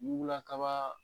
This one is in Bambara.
Wuula kaba